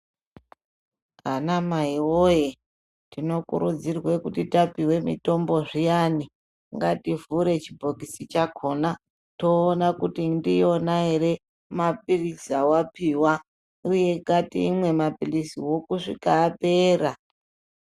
Anamaiwoyee , tinokurudzirwe kuti tapiwe mitombo zviyani ,ngativhure chibhokisi chakhona, toona kuti ndiyona ere maphiritsi awapiwa, uye ngatimwe maphiliziwo kusvika apera.